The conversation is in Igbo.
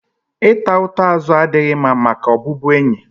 Ị ta ụta azụ adịghị mma maka ọbụbụenyi